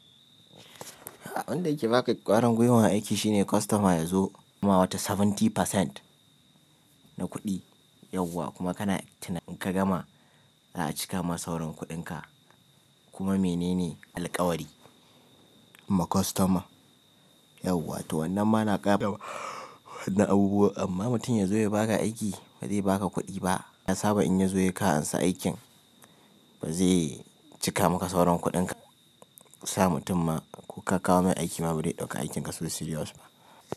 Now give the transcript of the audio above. Abun da yake baka ƙwarin gwiwar aiki shine kostoma ya zo kuma wata saba'in% na kuɗi yauwa kuma kana tunanin ka gama za a cika ma sauran kuɗinka kuma mene ne alƙawari ma kostoma yauwa to wannan ma na ƙara wani abubuwa amma mutum ya zo ya baka aiki ba zai baka kuɗi ba. Ya saba in ya zo ya kan ansa aikin ba zai cika maka sauran kuɗinka. Ka sa mutum ma ko ka kawo mai aiki ma ba zai ɗauka aikinka so serious ba.